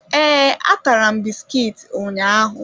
Ee, atara m bisikiiti ụnyaahụ.